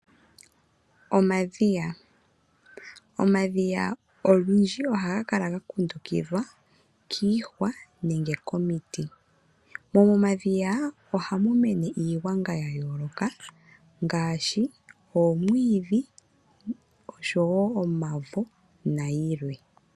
Omadhiya, omadhiya ogendji ohaga kala ga kundukidhwa kiihwa nenge komiti. Momadhiya ohamu mene iigwanga ya yooloka ngaashi omwiidhi, omavo nayilwe.